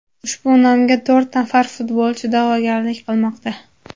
Ushbu nomga to‘rt nafar futbolchi da’vogarlik qilmoqda.